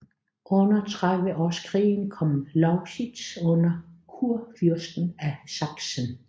Under Trediveårskrigen kom Lausitz under kurfyrsten af Sachsen